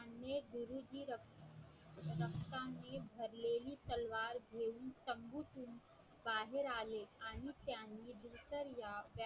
बाहेर आले आणि त्यानी